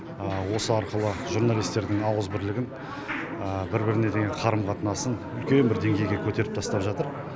осы арқылы журналистердің ауызбірлігін бір біріне қарым қатынасын үлкен бір дейгейге көтеріп жатыр